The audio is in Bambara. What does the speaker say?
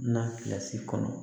Na kilasi kɔnɔ